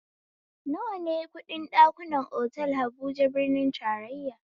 Nawa ne kuɗin ɗakunan otal habuja birnin tarayya?